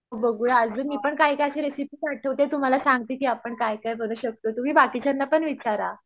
बघूया अजून मी पण काय काय सी रेसिपी पाठवते तुम्हाला सांगते की आपण काय काय करू शकतो तुमि बाकीच्यांना पण विचारा